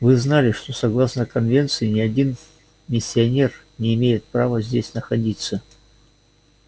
вы знали что согласно конвенции ни один миссионер не имеет права здесь находиться